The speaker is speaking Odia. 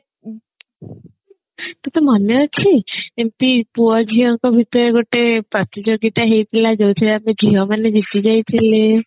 ତତେ ମନେ ଅଛି କେମତି ପୁଅ ଝିଅଙ୍କ ଭିତରେ ଗୋଟେ ପ୍ରତିଯୋଗିତା ହେଇଥିଲା ଯୋଉଥିରେ ଆମେ ଝିଅ ମାନେ ଝିଅ ମାନେ ଜିତି ଯାଇଥିଲେ